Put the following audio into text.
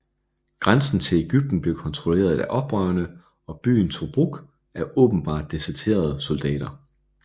Grænsen til Egypten blev kontrolleret af oprørerne og byen Tobruk af åbenbart deserterede soldater